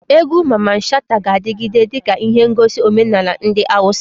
Egwu Mamman Shata ga-adigide dika ihe negosi omenala ndi Hausa.